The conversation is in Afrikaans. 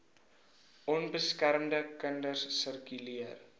onbeskermde kinders sirkuleer